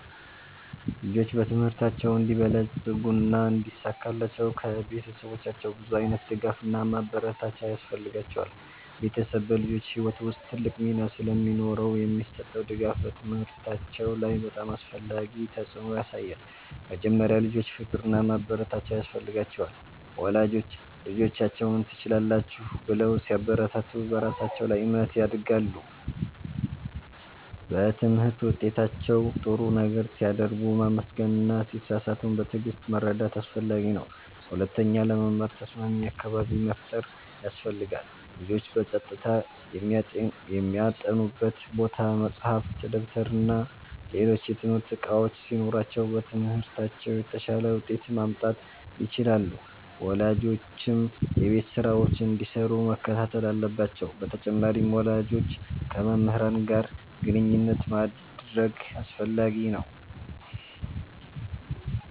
ልጆች በትምህርታቸው እንዲበለጽጉና እንዲሳካላቸው ከቤተሰቦቻቸው ብዙ ዓይነት ድጋፍና ማበረታቻ ያስፈልጋቸዋል። ቤተሰብ በልጆች ሕይወት ውስጥ ትልቅ ሚና ስለሚኖረው የሚሰጠው ድጋፍ በትምህርታቸው ላይ በጣም አስፈላጊ ተፅዕኖ ያሳያል። መጀመሪያ፣ ልጆች ፍቅርና ማበረታቻ ያስፈልጋቸዋል። ወላጆች ልጆቻቸውን “ትችላላችሁ” ብለው ሲያበረታቱ በራሳቸው ላይ እምነት ያድጋሉ። በትምህርት ውጤታቸው ጥሩ ነገር ሲያደርጉ ማመስገን እና ሲሳሳቱም በትዕግሥት መርዳት አስፈላጊ ነው። ሁለተኛ፣ ለመማር ተስማሚ አካባቢ መፍጠር ያስፈልጋል። ልጆች በጸጥታ የሚያጠኑበት ቦታ፣ መጻሕፍት፣ ደብተርና ሌሎች የትምህርት እቃዎች ሲኖሯቸው በትምህርታቸው የተሻለ ውጤት ማምጣት ይችላሉ። ወላጆችም የቤት ስራቸውን እንዲሰሩ መከታተል አለባቸው በተጨማሪም፣ ወላጆች ከመምህራን ጋር ግንኙነት ማድረግ አስፈላጊ ነው።